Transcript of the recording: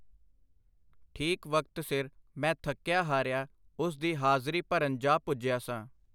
ਠੀਕ ਵਕਤ ਸਿਰ ਮੈਂ ਥੱਕਿਆ-ਹਾਰਿਆ ਉਸ ਦੀ ਹਾਜ਼ਰੀ ਭਰਨ ਜਾ ਪੁੱਜਿਆ ਸਾਂ.